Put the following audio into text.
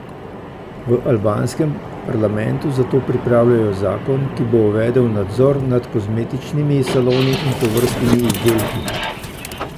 V albanskem parlamentu zato pripravljajo zakon, ki bo uvedel nadzor nad kozmetičnimi saloni in tovrstnimi izdelki.